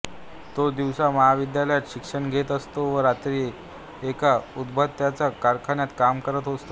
तो दिवसा महविद्यालयात शिक्षण घेत असतो आणि रात्री एका उदबत्त्यांच्या कारखान्यात काम करत असतो